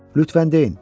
Lütfən deyin.